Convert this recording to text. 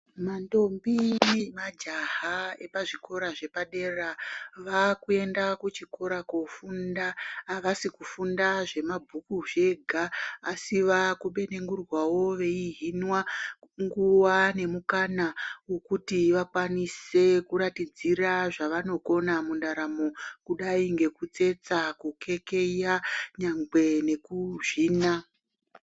Manthombi nemajaha epazvikora zvepadera vakuenda kuchikora koofunda. Havasi kufunda zvemabhuku zvega asi vaakupenengurwawo veihinwa nguwa nemukana wokuti vakwanise kuratidzira zvavanokona mundaramo kudai ngekutsetsa, kukeya nyangwe nekuzvina.